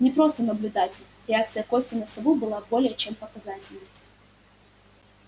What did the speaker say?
не просто наблюдатель реакция кости на сову была более чем показательной